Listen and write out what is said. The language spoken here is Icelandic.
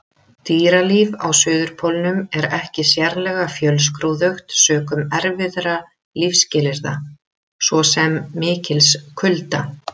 Dýralíf á Suðurpólnum er ekki sérlega fjölskrúðugt sökum erfiðra lífsskilyrða, svo sem mikils kulda.